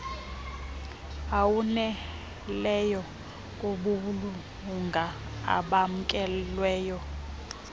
awaneleyo kubulunga obamkelweyo